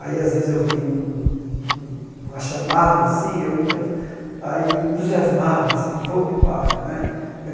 Aí às vezes, eu vi um um uma chamada assim, eu ia aí entusiasmava assim, fogo de palha né.